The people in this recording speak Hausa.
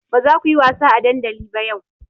Ba za ku yi wasa a dandali ba yau!